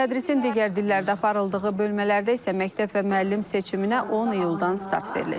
Tədrisin digər dillərdə aparıldığı bölmələrdə isə məktəb və müəllim seçiminə 10 iyuldan start veriləcək.